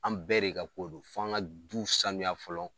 An bɛɛ de ka ko do fo an ka du sanuya fɔlɔ.